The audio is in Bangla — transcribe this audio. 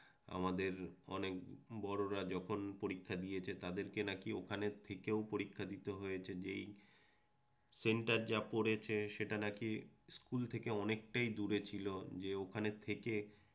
আমাদের অনেক বড়রা যখন পরীক্ষা দিয়েছে তাদেরকে নাকি ওখানে থেকেও পরীক্ষা দিতে হয়েছে যেই সেন্টার যা পড়েছে সেটা নাকি স্কুল থেকে অনেকটাই দূরে ছিল যে ওখানে থেকে